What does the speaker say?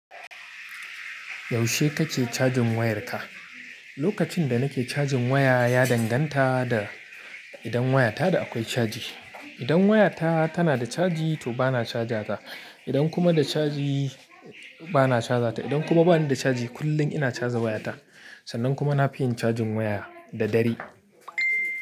Yaushe kake cajin wayarka? Lokacin da nake cajin waya ya danganta da idan wayata da akwai caji. Idan wayata tana da caji to bana cajar ta, idan kuma ba ni da caji kullum ina caja wayata. Sannan kuma nafi yin cajin waya da dare.